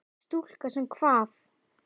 Stúlka sem kvað.